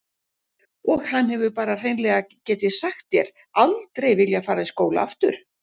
Og hann hefur bara hreinlega get ég sagt þér aldrei viljað fara í skóla aftur.